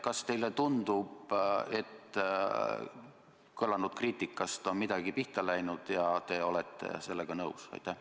Kas teile tundub, et kõlanud kriitikast on midagi pihta läinud, ja kas te olete sellega nõus?